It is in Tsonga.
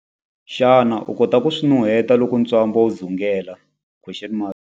Xana u kota ku swi nuheta loko ntswamba wu dzungela?